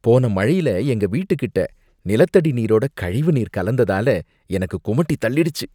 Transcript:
போன மழையில எங்க வீட்டுக்கிட்ட நிலத்தடி நீரோட கழிவு நீர் கலந்ததால எனக்கு குமட்டிதள்ளிடுச்சி.